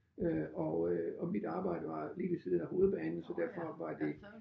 Øh og øh og mit arbejde var lige ved siden af hovedbanen så derfor var det